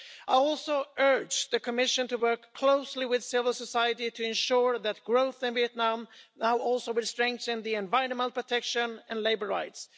I also urge the Commission to work closely with civil society to ensure that growth in Vietnam now also will strengthen environmental protection and labour rights.